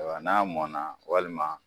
N'a mɔnna walima